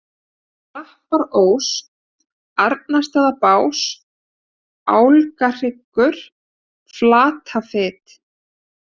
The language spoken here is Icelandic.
Klapparós, Arnarstaðabás, Álagahryggur, Flatafit